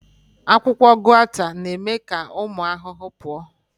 Akwụkwọ Guata na-eme ka ụmụ ahụhụ pụọ